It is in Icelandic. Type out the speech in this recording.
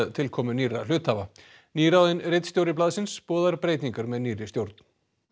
tilkomu nýrra hluthafa nýráðinn ritstjóri blaðsins boðar breytingar með nýrri stjórn